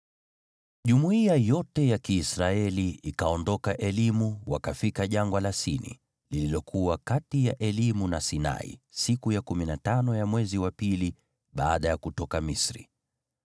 Jumuiya yote ya Kiisraeli ikaondoka Elimu, wakafika Jangwa la Sini, lililokuwa kati ya Elimu na Sinai, siku ya kumi na tano ya mwezi wa pili baada ya kutoka Misri.